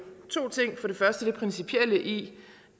to ting for første er principielle i